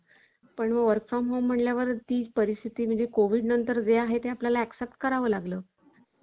कुणी एक स्त्री कमकुवत नाही ती कोणतंही कार्य करू शकते आजकाल स्त्रियांना स्वतः बद्दल बर्याचश्या स्त्रियांना असं स्वतः बद्दल आत्मविश्वास गमावलेल्या स्त्रिया आहेत.